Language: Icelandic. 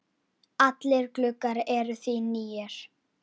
Allir gluggar eru því nýir.